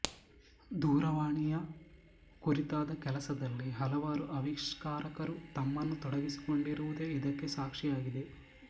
ದೂರವಾಣಿಯ ಕುರಿತಾದ ಕೆಲಸದಲ್ಲಿ ಹಲವಾರು ಆವಿಷ್ಕಾರಕರು ತಮ್ಮನ್ನು ತೊಡಗಿಸಿಕೊಂಡಿರುವುದೇ ಇದಕ್ಕೆ ಸಾಕ್ಷಿಯಾಗಿದೆ